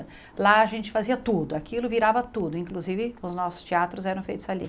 Lá a gente fazia tudo, aquilo virava tudo, inclusive os nossos teatros eram feitos ali.